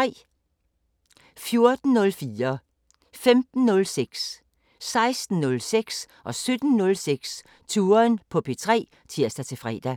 14:04: Touren på P3 (tir-fre) 15:06: Touren på P3 (tir-fre) 16:06: Touren på P3 (tir-fre) 17:06: Touren på P3 (tir-fre)